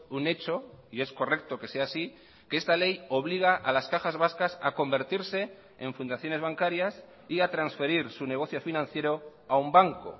un hecho y es correcto que sea así que esta ley obliga a las cajas vascas a convertirse en fundaciones bancarias y a transferir su negocio financiero a un banco